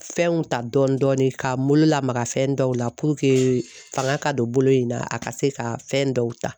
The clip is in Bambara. Fɛnw ta dɔɔni dɔɔni k'a n bolo lamaga fɛn dɔw la purukee fanga ka don bolo in na a ka se ka fɛn dɔw ta.